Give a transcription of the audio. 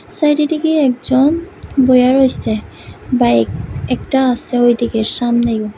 সাইডের দিকে একজন বইয়া রইছে বাইক একটা আছে ঐদিকে সামনে।